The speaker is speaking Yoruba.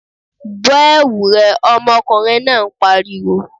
Bọ́ ẹ̀wu rẹ! ọmọkùnrin náà pariwo.